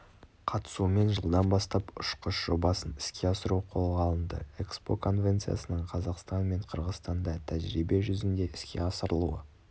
қатысуымен жылдан бастап ұшқыш жобасын іске асыру қолға алынды экспо конвенциясының қазақстан мен қырғызстанда тәжірибе жүзінде іске асырылуы